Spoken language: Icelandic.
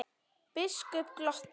Biskup glotti.